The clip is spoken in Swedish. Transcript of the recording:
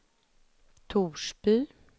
Torsby